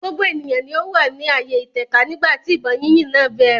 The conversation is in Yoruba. gbogbo ènìyàn ni ó wà ní ààyè ìtẹ̀ka nígbà tí ìbọn yínyìn náà bẹ̀rẹ̀.